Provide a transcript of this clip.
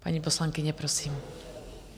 Paní poslankyně, prosím.